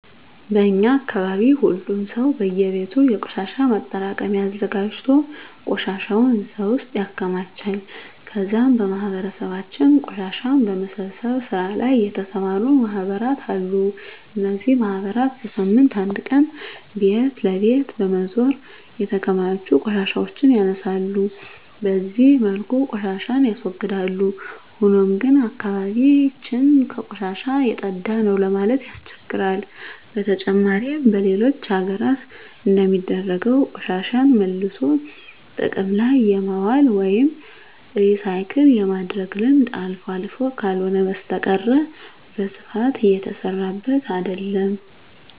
በእኛ አካባቢ ሁሉም ሰው በእየቤቱ የቆሻሻ ማጠራቀሚያ አዘጋጅቶ ቆሻሻውን እዛ ውስጥ ያከማቻል ከዛም በማህበረሰባችን ቆሻሻን በመሰብሰብ ስራ ላይ የተሰማሩ ማህበራት አሉ። እነዚህ ማህበራት በሳምንት አንድ ቀን ቤት ለቤት በመዞር የተከማቹ ቆሻሻዎችን ያነሳሉ። በዚህ መልኩ ቆሻሻን ያስወግዳል። ሆኖም ግን አካባቢ ያችን ከቆሻሻ የፀዳ ነው ለማለት ያስቸግራል። በተጨማሪም በሌሎች ሀገራት እንደሚደረገው ቆሻሻን መልሶ ጥቅም ላይ የማዋል ወይም ሪሳይክል የማድረግ ልምድ አልፎ አልፎ ካልሆነ በስተቀረ በስፋት እየተሰራበት አይደለም።